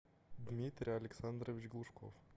дмитрий александрович глушков